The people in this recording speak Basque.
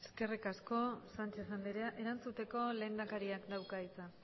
eskerri asko sánchez andereak erantzuteko lehendakaria dauka hitza